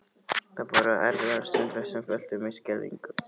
Það voru erfiðar stundir sem fylltu mig skelfingu.